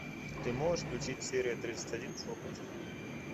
ты можешь включи серия тридцать один шепот